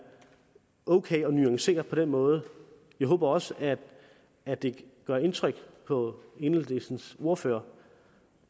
ok at nuancere det på den måde jeg håber også at det gør indtryk på enhedslistens ordfører